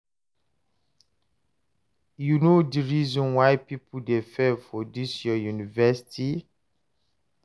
u know di reason why people dey fail for dis your university?